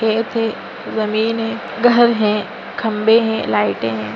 खेत है जमीन है घर है खम्भे है लाइटे है।